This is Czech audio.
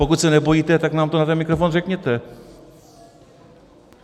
Pokud se nebojíte, tak nám to na ten mikrofon řekněte!